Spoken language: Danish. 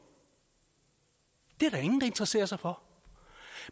det er der interesserer sig for